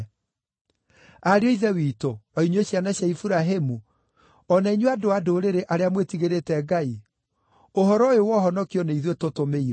“Ariũ a Ithe witũ, o inyuĩ ciana cia Iburahĩmu, o na inyuĩ andũ-a-Ndũrĩrĩ arĩa mwĩtigĩrĩte Ngai, ũhoro ũyũ wa ũhonokio nĩ ithuĩ tũtũmĩirwo.